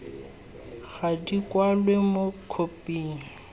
ga di kwalwe mo khophing